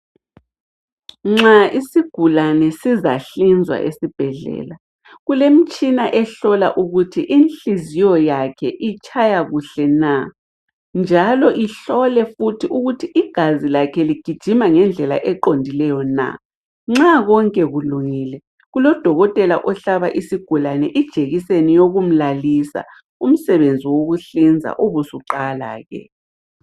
Nxa isigulane sizahlinzwa esibhedlela kulemtshina ehlola ukuthi inhliziyo yakhe itshaya kuhle na njalo ihlole futhi ukuthi igazi lakhe ligijima ngendlela eqondileyo na. Nxa konke kulungile kulodokotela ohlaba isigulane ijekiseni yokumlalisa, umsebenzi wokuhlinza ubusuqala ke.